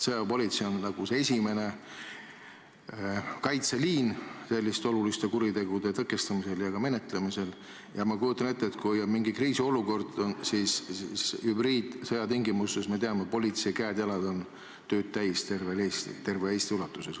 Sõjaväepolitsei on nagu esimene kaitseliin selliste oluliste kuritegude tõkestamisel ja ka menetlemisel ning ma kujutan ette, et kui on kriisiolukord, siis hübriidsõja tingimustes, me teame, võivad politseil käed-jalad tööd täis olla terve Eesti ulatuses.